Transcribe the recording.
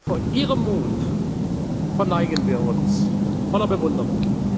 Vor ihrem Mut verneigen wir uns voller Bewunderung.